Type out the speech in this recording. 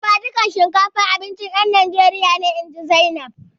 Dafadukan shinkafa abincin ƴan Najeriya ne, inji Zainab.